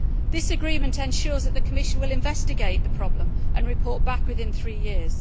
This agreement ensures that the Commission will investigate the problem and report back within three years.